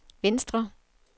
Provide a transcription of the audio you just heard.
venstre